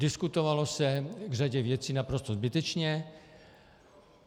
Diskutovalo se k řadě věcí naprosto zbytečně.